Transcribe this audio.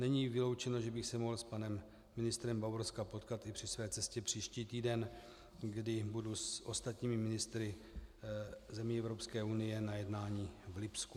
Není vyloučeno, že bych se mohl s panem ministrem Bavorska potkat i při své cestě příští týden, kdy budu s ostatními ministry zemí Evropské unie na jednání v Lipsku.